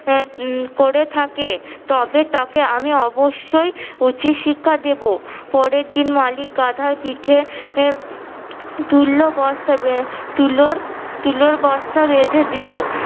এ উম করে থাকে তবে তাকে আমি অবশই উচিত শিক্ষা দিব। পরেরদিন মালিক গাধার পিঠে এ তুললো বস্তা তুলোর তুলোর বস্তা বেঁধে দিলো।